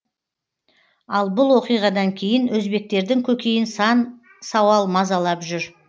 ал бұл оқиғадан кейін өзбектердің көкейін сан сауал мазалап жүр